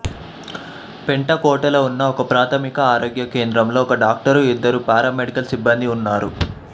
పెంటకోటలో ఉన్న ఒకప్రాథమిక ఆరోగ్య కేంద్రంలో ఒక డాక్టరు ఇద్దరు పారామెడికల్ సిబ్బందీ ఉన్నారు